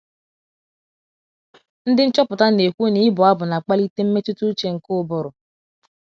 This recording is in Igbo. Ndị nchọpụta na - ekwu na ịbụ abụ na - akpalite “ mmetụta ụche ” nke ụbụrụ.